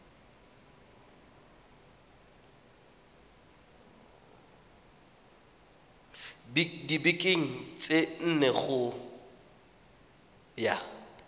dibekeng tse nne go ya